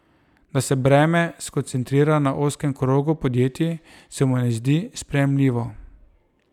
Da se breme skoncentrira na ozkem krogu podjetij, se mu ne zdi sprejemljivo.